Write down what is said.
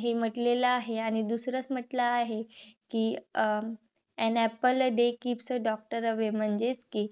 हे म्हंटलेल आहे. आणि दुसरच म्हंटल आहे कि um an apple a day keeps the doctor away म्हणजेच कि